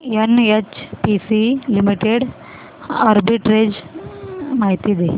NHPC limited arbitrage माहिती दे